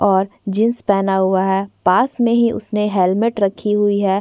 और जींस पहना हुआ है पास में ही उसने हेलमेट रखी हुई है।